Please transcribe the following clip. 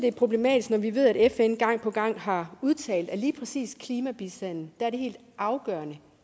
er problematisk når vi ved at fn gang på gang har udtalt at lige præcis klimabistanden er det helt afgørende